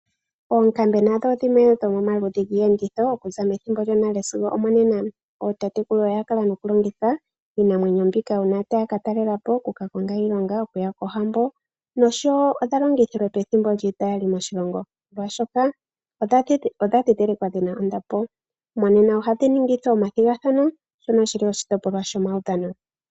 Oonkambe nadho odhimwe dhomaludhi giiyenditho okuza methimbo lyonale sigo nomonena. Ootatekulu oyakala mokulongitha iinamwenyo mbika uuna taya ka talelapo, okuka konga iilonga, okuya kohambo nosho woo odha longithilwe pethimbo lyiita yali moshilongo molwaashoka odha dhidhilikwa dhina ondapo. Monena ohadhi ningithwa omathigathana shoka shili oshitopolwa shomaudhano.